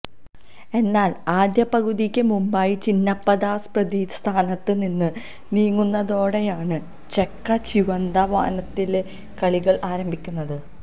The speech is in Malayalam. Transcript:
എന്നാൽ ആദ്യപകുതിക്ക് മുമ്പായി ചിന്നപ്പദാസ് പ്രതിസ്ഥാനത്ത് നിന്ന് നീങ്ങുന്നതോടെയാണ് ചെക്ക ചിവന്ത വാനത്തിലെ കളികൾ ആരംഭിക്കുന്നത്